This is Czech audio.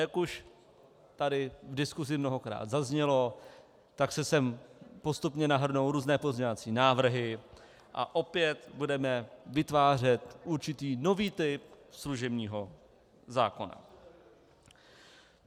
Jak už tady v diskusi mnohokrát zaznělo, tak se sem postupně nahrnou různé pozměňovací návrhy a opět budeme vytvářet určitý nový typ služebního zákona.